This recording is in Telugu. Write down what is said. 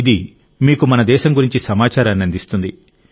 ఇది మీకు మన దేశం గురించి సమాచారాన్ని అందిస్తుంది